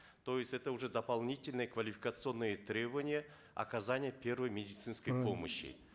то есть это уже дополнительные квалификационные требования оказания первой медицинской помощи